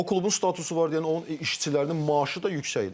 O klubun statusu var deyənə, onun işçilərinin maaşı da yüksəkdir.